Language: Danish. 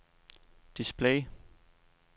display